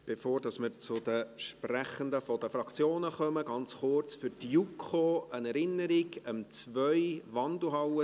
Bevor wir zu den Sprechenden der Fraktionen kommen, ganz kurz eine Erinnerung für die JuKo: